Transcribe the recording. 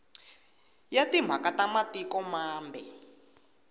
ya timhaka ta matiko mambe